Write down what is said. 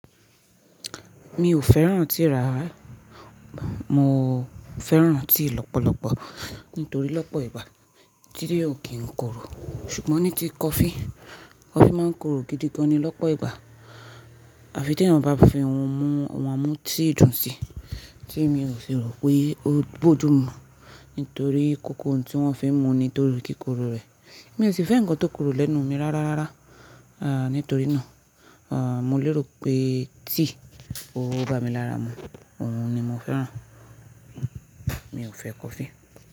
Mi ò fẹ́ràn tíì rárá, mo fẹ́ràn tíì lọ́pọ̀lọpọ̀ nítorí lọ́pọ̀ ìgbà tíì ò kí ń korò. Ṣùgbọ́n ní ti kọfí, kọfí máa ń korò gidigan ni lọ́pọ̀ ìgbà àfi tè ẹyan bá fi ohun á mú tíì dùn sí tí mi ò sì rò pé ó bójú mú nítorí kọ̀kọ̀ ohun tí wọ́n fi ń mu ni tó ri kíkorò rẹ̀. Èmi ò sì fẹ́ ńǹkan tó korò lẹ́nu mi rárá rárá. Nítorí náà, mo lérò pé tíì ó bá mi lára mu, òun ni mo fẹ́ràn. Mi ò fẹ́ kọfí.